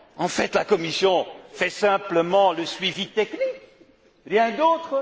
En fait, la Commission assure simplement le suivi technique, rien d'autre.